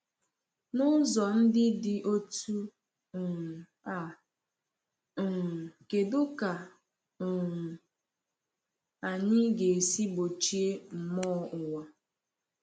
N’ụzọ ndị dị otú um a, um kedụ ka um anyị ga-esi gbochie mmụọ ụwa?